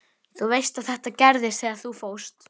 Þú veist að þetta gerðist þegar þú fórst.